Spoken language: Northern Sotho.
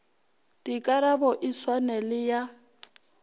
dikarabo e swane le ya